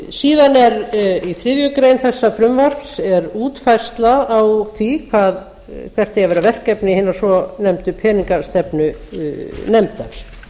síðan er í þriðju grein þessa frumvarps útfærsla á því hvert eigi að vera verkefni hinnar